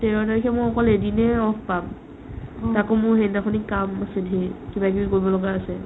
তেৰ তাৰিখে মই অকল এদিনে off পাম তাকো মোৰ সেইদিনাখনে কাম আছে ধেৰ কিবাকিবি কৰিব লগা আছে ।